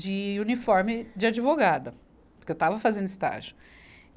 de uniforme de advogada, porque eu estava fazendo estágio. e